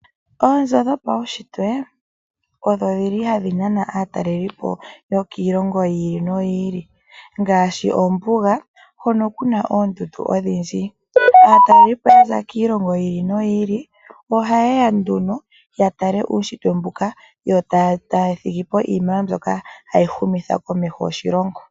Oonzo dhopaushitwe odhi li hadhi nana aatalelipo yokiilongo yi ili noyi ili, ngaashi ombuga hono ku na oondundu odhindji. Aatalelipo ya za kiilongo yi ili no yi ili oha yeya nduno ya tale uushitwe mbuka, yo taa thigipo iiniwe mbyoka hayi humitha ko eliko lyoshilongo.